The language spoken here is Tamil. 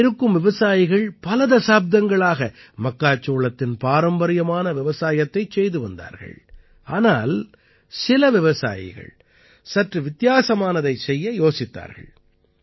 இங்கே இருக்கும் விவசாயிகள் பல தசாப்தங்களாக மக்காச்சோளத்தின் பாரம்பரியமான விவசாயத்தைச் செய்து வந்தார்கள் ஆனால் சில விவசாயிகள் சற்று வித்தியாசமானதைச் செய்ய யோசித்தார்கள்